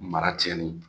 Mara cɛnni